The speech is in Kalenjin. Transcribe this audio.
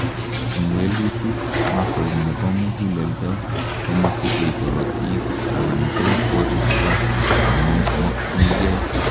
en walutik, muscle nebo muguleldo komosichei korotik anan ko koristo nemokyingei